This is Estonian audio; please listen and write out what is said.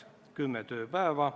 Teeme siis uuesti, saalikutsung.